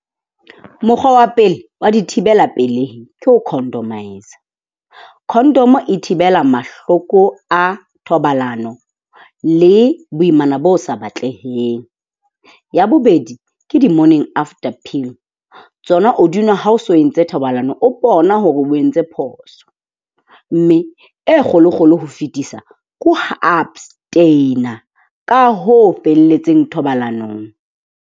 Mokgwa wa pele wa dithibela pelehi ke ho condomise-a. Condom e thibela mahloko a thobalano le boimana bo sa batleheng. Ya bobedi ke di-morning after pill, tsona o di nwa ha o so entse thobalano o bona hore o entse phoso. Mme e kgolo-kgolo ho fetisa ke ho abstain-a ka ho felletseng thobalanong.